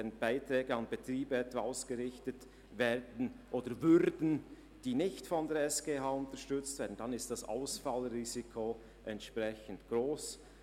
Würden Beiträge an Betriebe ausgerichtet, die nicht von der SGH unterstützt werden, dann ist das Ausfallrisiko entsprechend gross.